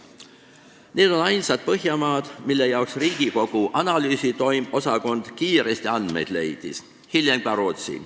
Need on ainsad Põhjamaad, mille andmed Riigikogu Kantselei analüüsiosakond kiiresti leidis, hiljem lisandus Rootsi.